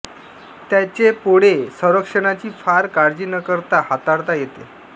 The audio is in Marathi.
त्यांचे पोळे संरक्षणाची फार काळजी न करता हाताळता येते